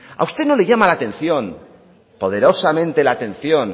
a usted no le llama la atención poderosamente la atención